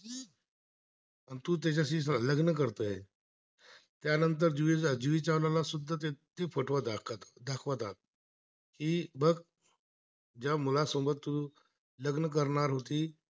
त्यानंतर जुई चावला ला सुद्धा त्याचे फोटो दाखवत दाखवतात हे बघ ज्मुया लासोबत लग्न करणार होती